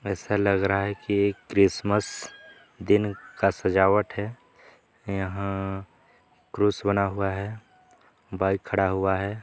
ऐसा लग रहा है कि यह क्रिसमस दिन का सजावट है यह क्रूस बना हुआ है बाइक खड़ा हुआ हैं।